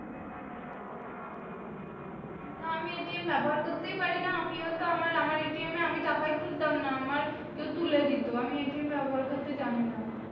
না আমি ব্যবহার করতেই পারি না আমি ও তো আমার আমার এ আমি টাকাই তুলতাম না আমার কেউ তুলে দিতো আমি ব্যবহার করতে জানি না